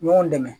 Ɲɔgɔn dɛmɛ